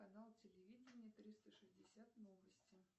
канал телевидения триста шестьдесят новости